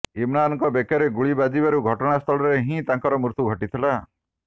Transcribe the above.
ଇମ୍ରାନଙ୍କ ବେକରେ ଗୁଳି ବାଜିବାରୁ ଘଟଣାସ୍ଥଳରେ ହିଁ ତାଙ୍କର ମୃତ୍ୟୁ ଘଟିଥିଲା